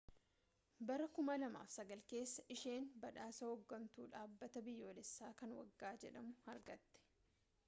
bara 2009 keessa isheen badhaasa hooggantuu dhaabbataa biyyoolessaa kan waggaa jedhamu argatte